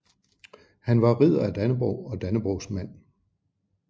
Han var Ridder af Dannebrog og Dannebrogsmand